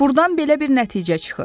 Burdan belə bir nəticə çıxır.